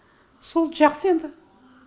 сол жақсы енді